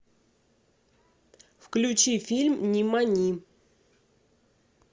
включи фильм нимани